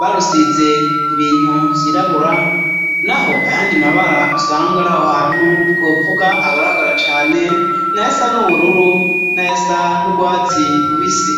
barusize ibintu vyirabura naho ayandi mabara usanga ariaho hantu twopfuga agaragara cane nayasa n'ubururu na yasa n'urwatsi rubisi.